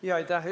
Aitäh!